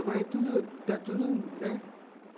Agora é tudo, está tudo, né?